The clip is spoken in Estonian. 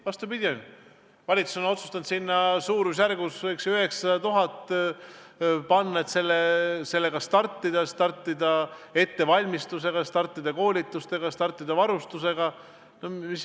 Vastupidi, valitsus on otsustanud sinna suurusjärgus 900 000 eurot panna, et sellega startida: startida ettevalmistusega, startida koolitustega, startida varustusega.